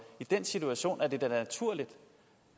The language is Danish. i den situation er det da naturligt